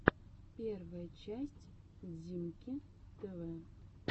первая часть диммки тв